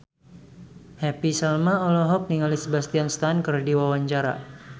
Happy Salma olohok ningali Sebastian Stan keur diwawancara